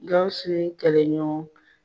Gawusu ye kɛlɛ ɲɔgɔn